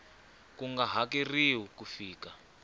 ku nga hakeriwa ku fika